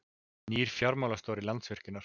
Nýr fjármálastjóri Landsvirkjunar